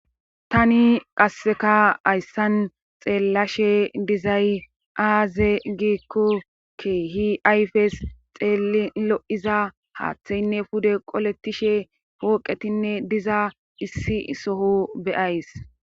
tani qasseka hayssan xeellashe dizay aaze giikko kehi ayfes xeelin lo7iza haaththeynne pude qoletishe pooqetinne diza issi soho be7ayis